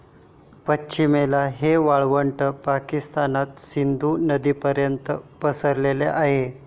पश्चिमेला हे वाळवंट पाकिस्तानात सिंधू नदीपर्यंत पसरले आहे.